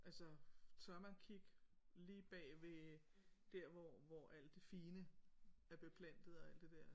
Altså tør man kigge lige bag ved der hvor hvor alt det fine er beplantet og alt det der